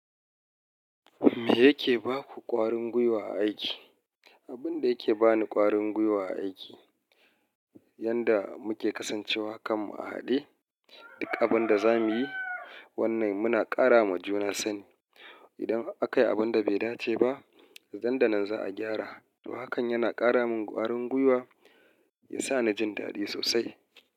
Me yake ba ku ƙwarin gwiwa a aiki? Abun da yake ba ni ƙwarin gwiwa a aiki, yanda muke kasancewa kanmu a haɗe, duk abin da za mu yi, wannan muna ƙara ma juna sani. Idan aka yi abin da bai dace ba, nan da nan za a gyara. Hakan yana ƙara min ƙwarin gwiwa, ya sa na jin daɗi sosai.